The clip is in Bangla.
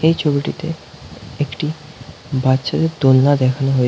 এই ছবিটিতে একটি বাচ্ছাদের দোলনা দেখানো হয়ে--